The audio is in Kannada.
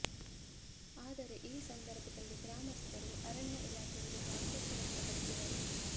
ಆದರೆ ಈ ಸಂದರ್ಭದಲ್ಲಿ ಗ್ರಾಮಸ್ಥರು ಅರಣ್ಯ ಇಲಾಖೆ ವಿರುದ್ಧ ಆಕ್ರೋಶ ವ್ಯಕ್ತಪಡಿಸಿದರು